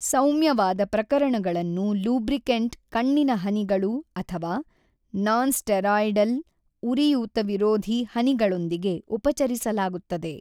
ಸೌಮ್ಯವಾದ ಪ್ರಕರಣಗಳನ್ನು ಲೂಬ್ರಿಕೆಂಟ್ ಕಣ್ಣಿನ ಹನಿಗಳು ಅಥವಾ ನಾನ್‌ಸ್ಟೆರಾಯ್ಡೆಲ್ ಉರಿಯೂತವಿರೋಧಿ ಹನಿಗಳೊಂದಿಗೆ ಉಪಚರಿಸಲಾಗುತ್ತದೆ.